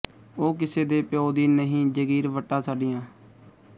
ਓ ਕਿਸੇ ਦੇ ਪਿਓ ਦੀ ਨਹੀਂ ਜਗੀਰ ਵੱਟਾਂ ਸਾਡੀਆਂ